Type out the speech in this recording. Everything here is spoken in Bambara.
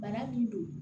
Bara min don